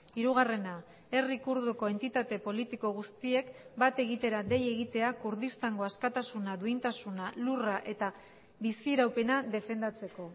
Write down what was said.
hirugarrena herri kurduko entitate politiko guztiek bat egitera dei egitea kurdistango askatasuna duintasuna lurra eta biziraupena defendatzeko